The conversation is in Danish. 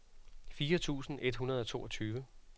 fire tusind et hundrede og toogtyve